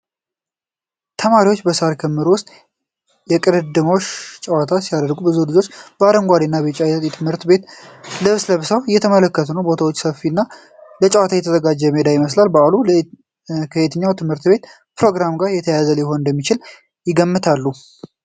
ተማሪዎች በሳር ክምር ውስጥ የእሽቅድምድም ጨዋታ ሲያደርጉ ብዙ ልጆች በአረንጓዴ እና ቢጫ የትምህርት ቤት ልብስ ለብሰው እየተመለከቱ ነው። ቦታው ሰፊና ለጨዋታ የተዘጋጀ ሜዳ ይመስላል። በዓሉ ከየትኛው የትምህርት ቤት ፕሮግራም ጋር የተያያዘ ሊሆን እንደሚችል ይገምታሉ?